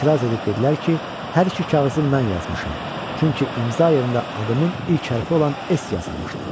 Etiraz edib dedilər ki, hər iki kağızı mən yazmışam, çünki imza yerində adımın ilk hərfi olan S yazılmışdı.